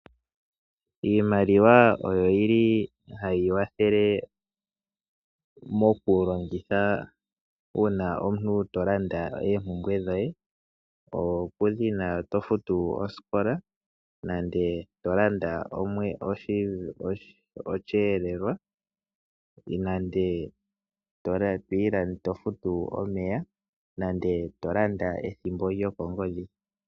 Iimaliwa oyo yili hayi kwathele mokulongitha uuna ngele omuntu to landa eempumbwe dhoye, okutya ongele tofutu osikola, to landa osheeelwa, tofutu omeya nenge to landa ethimbo lyokongodhi.